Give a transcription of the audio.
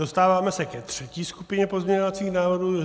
Dostáváme se ke třetí skupině pozměňovacích návrhů.